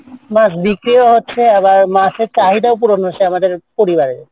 মাসে চাউল অনুসারে আমাদের পরিবারের।